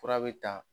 Fura bɛ ta